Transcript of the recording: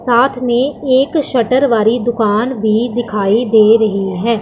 साथ में एक शटर वाली दुकान भी दिखाई दे रही है।